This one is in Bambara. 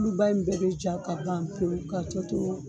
Oluba in bɛɛ bɛ ja ka ban pewu ka tɔ to